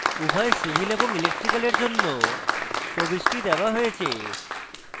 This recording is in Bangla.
উভয় civil এবং electrical এর জন্য প্রবিষ্টি দেওয়া হয়েছে